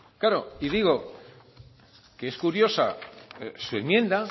claro y digo que es curiosa su enmienda